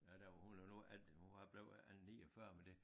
Ja der var hun var nu alt det hun var blev øh 49 men det